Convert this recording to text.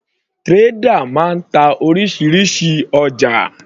Trader máa ń ta orísirísi ọjà.